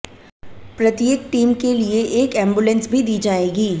प्रत्येक टीम के लिए एक एम्बुलेंस भी दी जाएगी